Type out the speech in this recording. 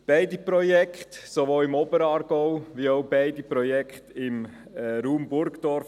Die Projekte sind auf Kurs, sowohl im Oberaargau als auch beide Projekte im Raum Burgdorf.